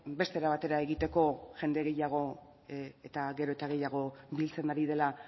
beste era batera egiteko jende gehiago eta gero eta gehiago biltzen ari dela